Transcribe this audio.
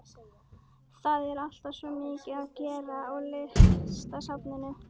Það er alltaf svo mikið að gera á Listasafninu.